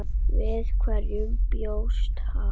Við hverju bjóst hann?